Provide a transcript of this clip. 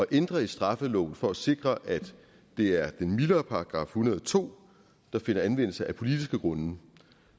ændre i straffeloven for at sikre at det er den mildere § en hundrede og to der finder anvendelse af politiske grunde